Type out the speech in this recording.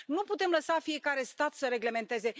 Nu putem lăsa fiecare stat să reglementeze.